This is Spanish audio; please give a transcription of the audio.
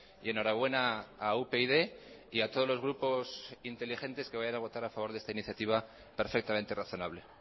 y enhorabuena a upyd y a todos los grupos inteligentes que vayan a votar a favor de esta iniciativa perfectamente razonable